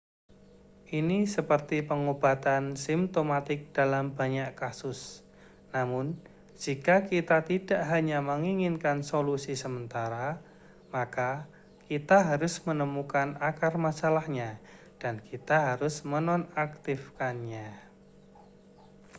ini seperti pengobatan simtomatik dalam banyak kasus namun jika kita tidak hanya menginginkan solusi sementara maka kita harus menemukan akar masalahnya dan kita harus menonaktifkannya